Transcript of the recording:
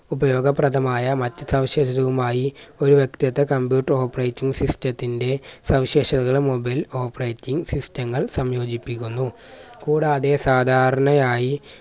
ഉപയോഗപ്രദമായ മറ്റു സവിശേഷതകളുമായി ഒരു വ്യക്തത്വ computer operating system ത്തിന്റെ സവിശേഷതകൾ മുമ്പിൽ operating system ങ്ങൾ സംയോജിപ്പിക്കുന്നു. കൂടാതെ സാധാരണയായ്